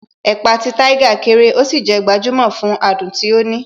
Ẹ̀pà ti Tiger kéré, ó sì jé gbajumo fún adùn tí ó ní.